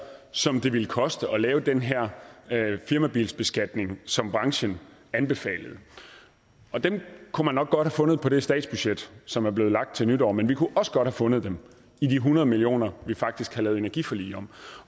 som det ville koste at lave den her firmabilsbeskatning som branchen anbefalede dem kunne man nok godt have fundet på det statsbudget som er blevet lagt frem til nytår men vi kunne også godt have fundet dem i de hundrede million kr vi faktisk havde lavet energiforlig om